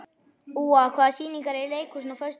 Úa, hvaða sýningar eru í leikhúsinu á föstudaginn?